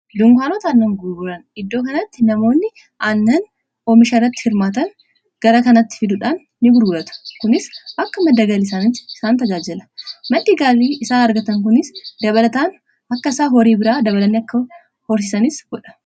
dunkaanota annan guburan iddoo kanatti namoonni aannan omishaarrati firmaatan gara kanatti fiduudhaan ini bururata kunis akka maddagaliisaani isaan tajaajala madigaalii isaan argatan kunis dabalataan akka isaa horii biraa dabalanii akka horsisanis bodha